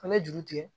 An bɛ juru tigɛ